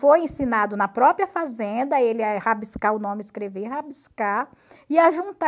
Foi ensinado na própria fazenda, ele a rabiscar o nome, escrever e rabiscar. E a